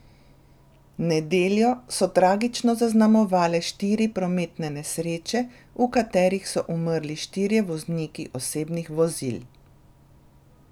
Nedeljo so tragično zaznamovale štiri prometne nesreče, v katerih so umrli štirje vozniki osebnih vozil.